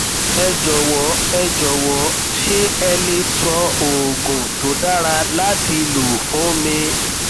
ẹ jọwọ ẹ jọwọ ṣé ẹ le sọ oògùn tó dára láti lò fún mi